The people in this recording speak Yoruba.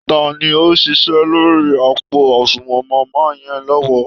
Ta ni ó ń ṣiṣẹ́ lórí àpò àsunwọ̀n màmá yẹn lọ́wọ́?